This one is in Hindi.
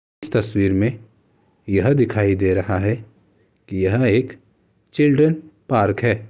इस तस्वीर में यह दिखाई दे रहा है कि यह एक चिल्ड्रन पार्क है।